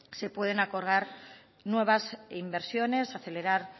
se pueden acordar nuevas inversiones acelerar